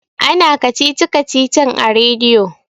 ana kacici-kacicin a rediyo